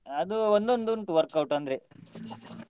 ಅದು ಒಂದೊಂದು ಉಂಟು workout ಅಂದ್ರೆ.